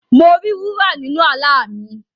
Mo ri wúrà nínu àlá mi.